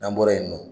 N'an bɔra yen nɔ